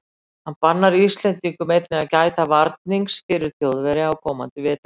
Hann bannar íslendingum einnig að gæta varnings fyrir Þjóðverja á komandi vetri.